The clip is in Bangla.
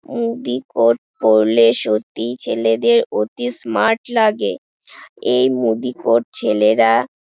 উদি কোর্ট পরলে সত্যি ছেলেদের অতি স্মার্ট লাগে এই মুদি কোর্ট ছেলেরা--